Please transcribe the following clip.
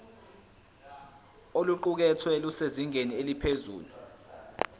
oluqukethwe lusezingeni eliphezulu